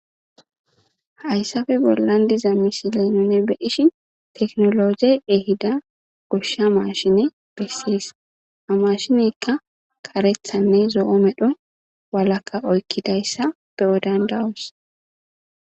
Hyssafe bollandiza misilenune beishi teknologey ehida goshsha maashine bessiyis a mashinekka karethanne zo7o medho walaka oykkidayssa be7o dandawus